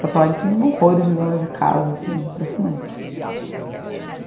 Porto Alegre tem honrores de dona de casa, assim, impressionante.